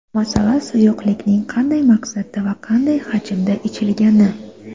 Masala suyuqlikning qanday maqsadda va qanday hajmda ichilgani.